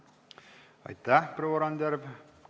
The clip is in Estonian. Aitäh, proua Randjärv!